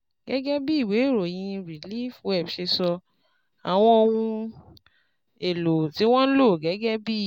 Gẹ́gẹ́ bí ìwé ìròyìn ReliefWeb ṣe sọ, àwọn ohun èlò tí wọ́n ń lò gẹ́gẹ́ bí